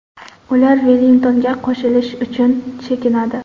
Ular Vellingtonga qo‘shilish uchun chekinadi.